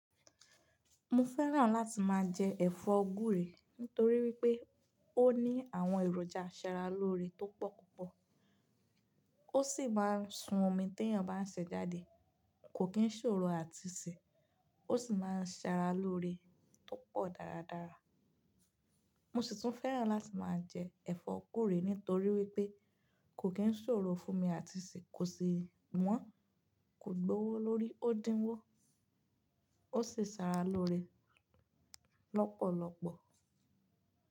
Mo fẹ́ràn láti máa jẹ ẹ̀fọ́ gúúre nítorí wípé ó ní àwọn èròjà sára lóore tó pọ̀ púpọ̀ ó sì máa ń sun omi tí èèyàn bá ń sè é jáde. Kò kí ń ṣòro àti sè, ó sì máa ń sára lóore tó pọ̀ dáradára. Mo sì tún fẹ́ràn láti máa jẹ ẹ̀fọ́ guurè nítorí wípé kò kí ń ṣòro fún mi àti sè é kò sì wọ́n, kò gbowó lórí ó dínwó. Ó sì sára lóore lọ́pọ̀lọpọ̀.